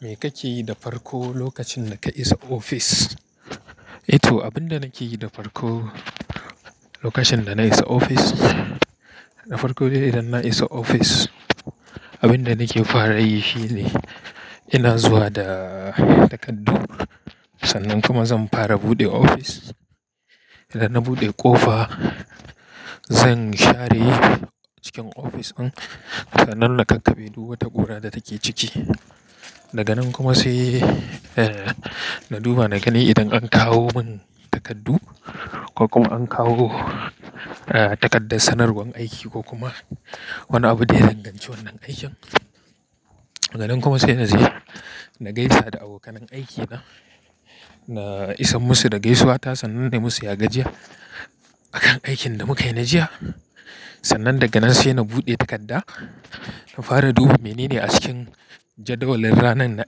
Me kake yi da farko, lokacin da ka isa ofis? Eh to, abin da nake yi da farko lokacin da na isa ofis, da farko dai idan na isa ofis, abin da nake fara yi shi ne ina zuwa da takardu. Sannan kuma zan fara buɗe ofis. Idan na buɗe ƙofa, zan share cikin ofis ɗin. Sannan na kakkabe duk wata ƙura da take ciki. Daga nan kuma sai, eh, na duba naga ne idan an kawo min takardu ko kuma an kawo, eh, takardar sanarwar aiki ko kuma wani abu da ya danganci wannan aikin. Daga nan kuma sai na je na gaisa da abokan aiki na, na isa musu da gaisuwata sannan dai musu ya gajiya a kan aikin da muka yi na jiya. Sannan daga nan sai na buɗe takarda, na fara duba menene a cikin jadawalin ranar na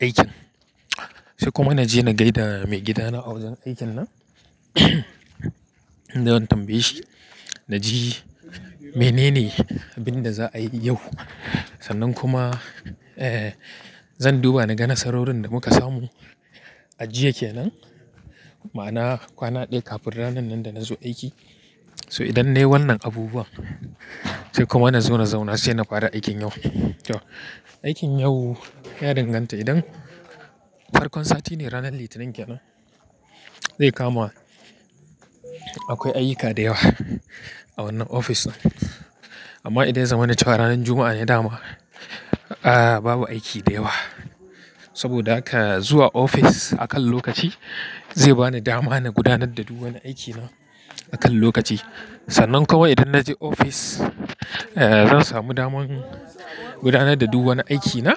aikin. Sai kuma na je na gaida maigidana a wajen aikin nan don tambaye shi na ji menene abin da za'a yi yau. Sannan kuma, eh, zan duba na ga nasarorin da muka samu a jiya kenan. Ma'ana kwana ɗaya kafin ranar nan da na zo aiki. So idan nayi wannan abubuwa, sai kuma na zo na zauna sai na fara aikin yau. To aikin yau ya danganta idan farkon sati ne ranar Litinin kenan, zai kamu akwai ayyuka da yawa a wannan ofis ɗin. Amma idan ya zama na cewa ranar Juma'a ne dama, ah, babu aiki da yawa. Saboda haka zuwa ofis a kan lokaci zai bani dama na gudanar da duk wani aiki na a kan lokaci. Sannan kuma idan na je ofis, eh, zan samu daman gudanar da duk wani aiki na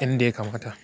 in dai kamata.